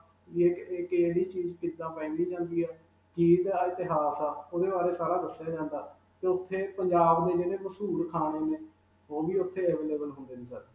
ਏਏ ਇਹ ਕਿਹੜੀ ਚੀਜ਼ ਕਿੱਦਾਂ ਪਾਈ ਜਾਂਦੀ ਹੈ. ਇਤਿਹਾਸ ਹੈ, ਉਸਦੇ ਬਾਰੇ 'ਚ ਸਾਰਾ ਦੱਸਿਆ ਜਾਂਦਾ, 'ਤੇ ਉਥੇ ਪੰਜਾਬ ਦੇ ਜਿਹੜੇ ਮਸ਼ਹੂਰ ਖਾਣੇ ਨੇ, ਉਹ ਵੀ ਉਥੇ available ਹੁੰਦੇ ਨੇ sir.